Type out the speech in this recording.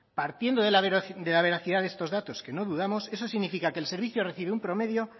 partiendo de la veracidad de estos datos que no dudamos eso significa que el servicio recibe un promedio